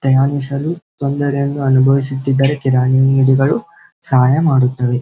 ಪ್ರಯಾಣಿಸಲು ತೊಂದರೆಯನ್ನು ಅನುಭವಿಸುತ್ತಿದ್ದರೆ ಕಿರಾಣಿ ಅಂಗಡಿಗಳು ಸಹಾಯ ಮಾಡುತ್ತವೆ .